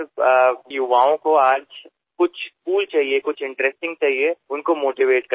sir आजच्या युवकांना काहीतरी कूल हवे असते काहीतरी स्वारस्यपूर्ण हवे असते